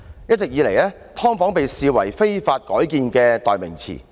一直以來，"劏房"被視為"非法改建"的代名詞。